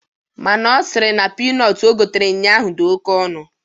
Mana Ọ sịrị na pinọt o gotere ụnyaahụ dị oke ọnụ.